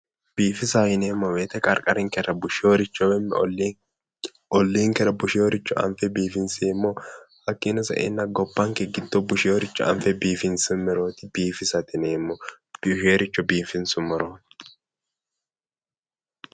Biifisa yineemmo woyiite qarqarinkera busheyooricho woyi olliinkera busheyooricho anfe biifinseemmo hakkiino saenna gobbanke giddo busheyooricho anfe biifinsummoro biifisate yineemmo biifeyooricho biifinsummorooti